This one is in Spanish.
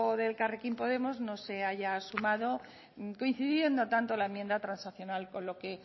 de elkarrekin podemos no se haya sumado coincidiendo tanto la enmienda transaccional con lo que